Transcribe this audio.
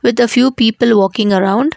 the few people walking around.